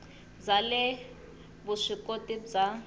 bya le vusw ikoti bya